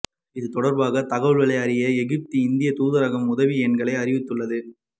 இது தொடர்பாக தகவல்களை அறிய எகிப்து இந்திய தூதரகம் உதவி எண்களை அறிவித்துள்ளது